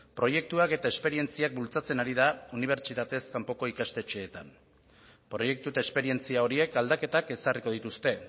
proiektuak eta esperientziak bultzatzen ari da unibertsitatez kanpoko ikastetxeetan proiektu eta esperientzia horiek aldaketak ezarriko dituzte